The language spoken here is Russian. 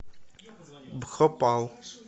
бхопал